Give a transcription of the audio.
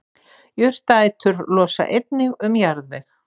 Jurtaætur losa einnig um jarðveg.